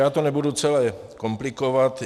Já to nebudu celé komplikovat.